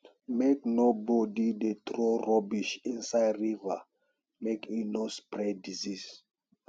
make nobody dey throw rubbish inside river make e no spread disease